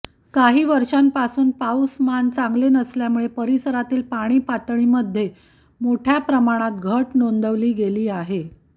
काही वर्षांपासून पाऊसमान चांगले नसल्यामुळे परिसरातील पाणी पातळीमध्ये मोठ्या प्रमाणात घट नोंदवली गेली आहे